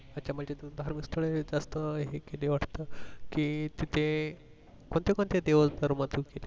म्हणजे एक देव असत कि तिथे कोणते कोणते देव असतात